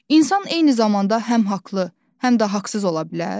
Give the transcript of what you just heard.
İnsan eyni zamanda həm haqlı, həm də haqsız ola bilər?